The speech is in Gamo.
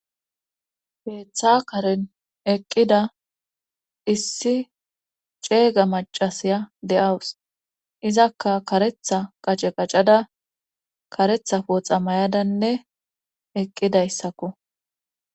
Heeththa karen eqqida issi ceega macasiya de7awus izakka karetha qace qacada karetha pooxa may7adanne eqqidayssakko